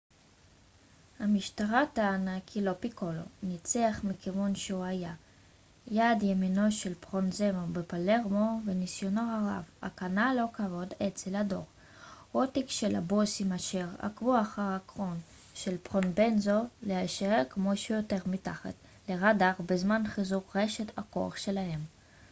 "המשטרה טענה כי "lo piccolo" ניצח מכיוון שהוא היה יד ימינו של פרובנזנו בפלרמו וניסיונו הרב הקנה לו כבוד אצל הדור הותיק של הבוסים אשר עקבו אחר העקרון של פרובנזנו להישאר כמה שיותר מתחת לראדאר בזמן חיזוק רשת הכוח שלהם.